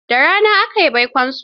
Da rana aka yi baikonsu.